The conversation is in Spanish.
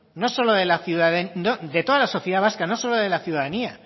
de toda la sociedad vasca no solo de la ciudadanía